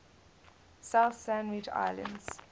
south sandwich islands